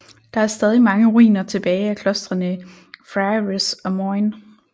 Der er stadig mange ruiner tilbage af klostrene Friarys og Moyne